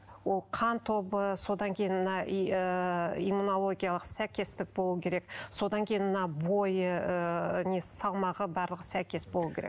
ол қан тобы содан кейін мына и ыыы иммунологиялық сәйкестік болуы керек содан кейін мына бойы ыыы несі салмағы барлығы сәйкес болуы керек